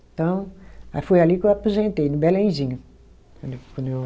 Então, aí foi ali que eu aposentei, no Belenzinho. Quando eu